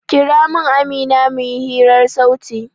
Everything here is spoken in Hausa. Kira min Amina mu yi hirar sauti!